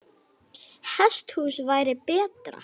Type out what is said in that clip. Hesthús væri betra.